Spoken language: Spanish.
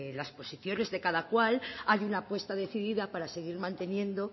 las posiciones de cada cual hay una apuesta decidida para seguir manteniendo